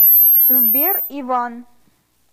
сбер иван